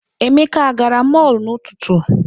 Emeka agara mọọlụ n'ụtụtụ?